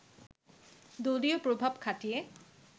দলীয় প্রভাব খাটিয়ে